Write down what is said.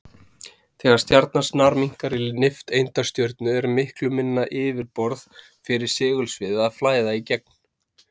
Þegar stjarnan snarminnkar í nifteindastjörnu er miklu minna yfirborð fyrir segulsviðið að flæða í gegnum.